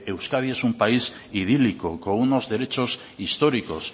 euskadi es un país idílico con unos derechos históricos